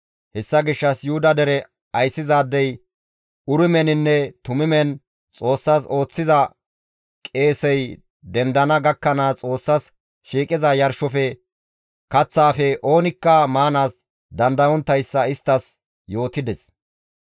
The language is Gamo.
Hessa gishshas Yuhuda dere ayssizaadey urimeninne tumimen Xoossas ooththiza qeesey dendana gakkanaas Xoossas shiiqiza yarshofe, kaththaafe oonikka maanaas dandayonttayssa isttas yootides.